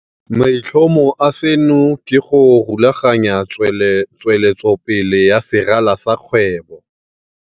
Maitlhomo a seno ke go rulaganya tsweletsopele ya serala sa kgwebo.